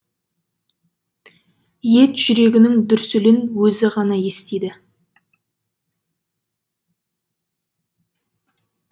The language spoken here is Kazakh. ет жүрегінің дүрсілін өзі ғана естиді